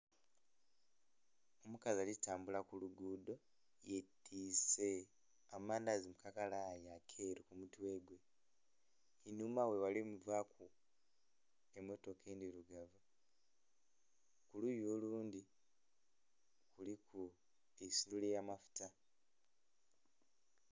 Omukazi ali tambula ku luguudo yetise amandazi mukakalayi akeeru kumutwe gwe einhuma ghe ghali muvaku emmotoka endhirugavu kuluyi olundhi kuliku eisundhiro erya amafuta.